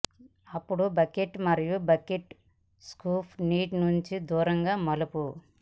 అప్పుడు బకెట్ మరియు bucket scoop నీటి నుండి దూరంగా మలుపు